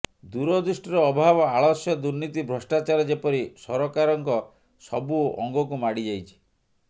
ଦୂରଦୃଷ୍ଟିର ଅଭାବ ଆଳସ୍ୟ ଦୁର୍ନୀତି ଭ୍ରଷ୍ଟାଚାର ଯେପରି ସରକାରଙ୍କ ସବୁ ଅଙ୍ଗକୁ ମାଡ଼ିଯାଇଛି